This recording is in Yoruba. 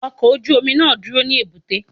Ọkọ̀ ojú omi náà á dúró ní èbúté.